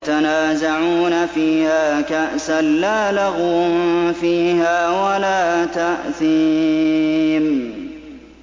يَتَنَازَعُونَ فِيهَا كَأْسًا لَّا لَغْوٌ فِيهَا وَلَا تَأْثِيمٌ